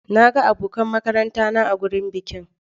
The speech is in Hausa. Na ga abokan makaranta na a wurin bikin.